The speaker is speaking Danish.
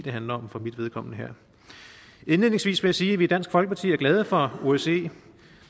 handler om for mit vedkommende her indledningsvis vil jeg sige at vi i dansk folkeparti er glade for osce